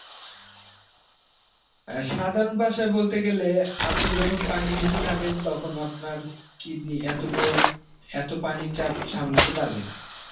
অ্যাঁ সাধারণ ভাষায় বলতে গেলে আপনি যখন পানি বেশি খাবেন তখন আপনার kidney এত পোর~ এত পানির চাপ সামলাতে পারবে না.